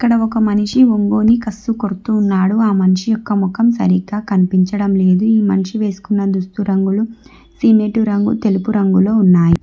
ఆడ ఒక మనిషి ఒంగోని కసువు కొడుతున్నాడు ఆ మనిషి యొక్క ముఖం సరిగ్గా కనిపించడం లేదు ఈ మనిషి వేసుకున్న దుస్తులు రంగులు సీనేటివ్ రంగు తెలుపు రంగులో ఉన్నాయి.